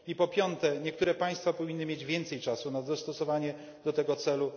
I po piąte, niektóre państwa powinny mieć więcej czasu na dostosowanie się do tego celu.